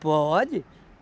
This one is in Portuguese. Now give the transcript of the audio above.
Pode.